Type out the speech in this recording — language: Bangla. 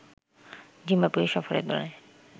জিম্বাবুয়ে সফরের দলে